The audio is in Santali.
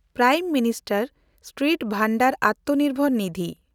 prime minister street vendor Atmanirbhar Nidhi